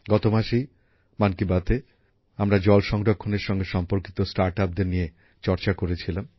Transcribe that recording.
গত মাসেই মন কী বাতএ আমরা জল সংরক্ষণের সঙ্গে সম্পর্কিত স্টার্ট আপদের নিয়ে চর্চা করেছিলাম